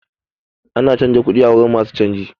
Ana canza kuɗi a wurin masu canji.